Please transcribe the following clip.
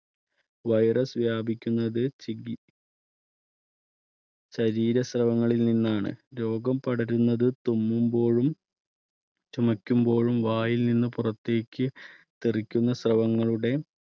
virus വ്യാപിക്കുന്നത് ശരീരശ്രവങ്ങളിൽ നിന്നാണ് രോഗം പടരുന്നത് തുമ്മുമ്പോഴും ചുമയ്ക്കുമ്പോഴും വായിൽ നിന്ന് പുറത്തേക്ക് തെറിക്കുന്ന ശ്രവങ്ങളുടെ